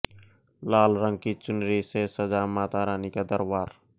लाल रंग की चुनरी से सजा माता रानी का दरबार